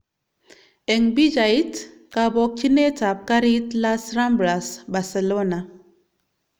Eng pichait: kabokchinet ab garit Las Ramblas, Barcelona